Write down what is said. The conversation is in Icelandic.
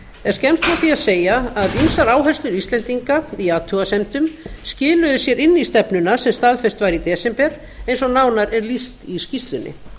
er skemmst frá því að segja að ýmsar áherslur íslendinga í athugasemdum skiluðu sér inn í stefnuna sem staðfest var í desember eins og nánar er lýst í skýrslunni